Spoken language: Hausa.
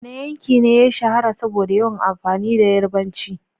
Wane yanki ne ya shahara saboda yawan amfani da Yarabanci?